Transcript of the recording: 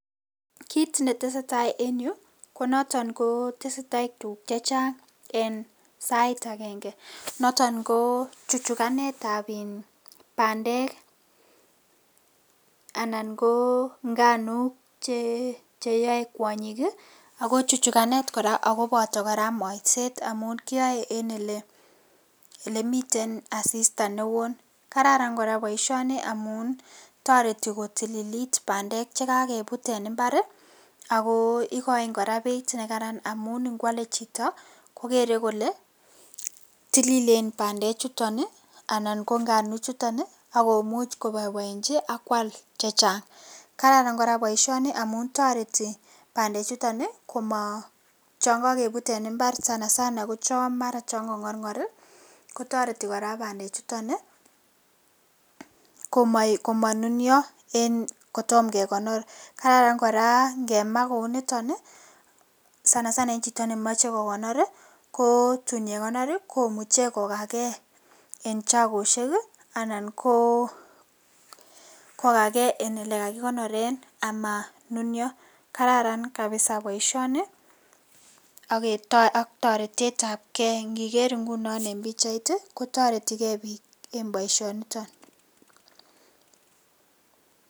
kiit netestai en yuu konoton ko tesetai tuguk chechang en sait agenge, noton ko chuchuganet ab bandek anan ko nganuk cheyoe kwonyik ii ako chuchuganet kora agoboto kora molset amun kiyoe en elemiten asista neoo, kararan boisioni amun toreti kotililit bandeek chegogebut en imbar ii ago igoin koraa pichait negaran amun ngwale chito kogere kole tililen bandeek chuton anan ko nganuk chuton agomuch koboboenchi ak kwal chechang, kararan koraa boisionii amun toreti bandeek chuton komo um chon kogebuut en imbar sanasana ko chon mara chon kongorngor ii kotoreti koraa bandeek chuton ii komonunyoo en kotom kegonor, kararan koraa kemaa kounii niton sanasana en chito nemoche kogonor ii ko tun yegonor ii komuche kogagee en chogosiek anan koo kogagee en yegagigonoren amaa nunyoo, kjararan kabiza boisionii ak toret ab kee, ngiger ingunon en pichait ii kotoretigee piik en boisionitok